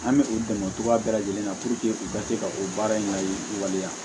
An bɛ u dɛmɛ cogoya bɛɛ lajɛlen na puruke u ka se ka o baara in layi waleya